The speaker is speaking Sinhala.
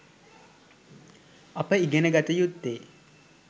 අප ඉගෙන ගත යුත්තේ